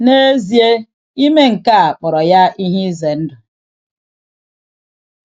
N'ezie, ime nke a kpọrọ ya ihe ize ndụ.